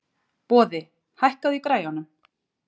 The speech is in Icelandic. Boði, hækkaðu í græjunum.